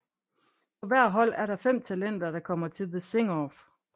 På hvert hold er der fem talenter der kommer til The Sing Off